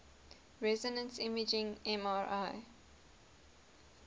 resonance imaging mri